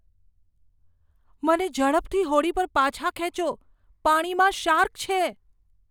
મને ઝડપથી હોડી પર પાછા ખેંચો, પાણીમાં શાર્ક છે.